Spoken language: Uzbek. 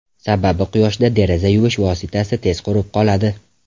Sababi quyoshda deraza yuvish vositasi tez qurib qoladi.